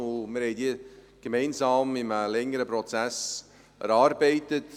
Wir haben sie gemeinsam in einem längeren Prozess erarbeitet.